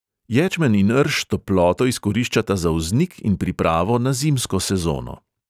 Ječmen in rž toploto izkoriščata za vznik in pripravo na zimsko sezono.